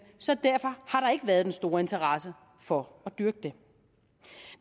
så derfor har der ikke været en stor interesse for at dyrke dem